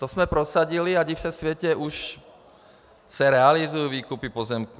To jsme prosadili a div se světe, už se realizují výkupy pozemků.